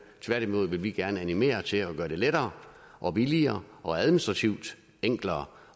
tværtimod vil vi gerne animere til at gøre det lettere og billigere og administrativt enklere